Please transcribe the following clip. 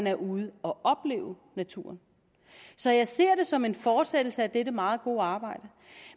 er ude at opleve naturen så jeg ser det som en fortsættelse af dette meget gode arbejde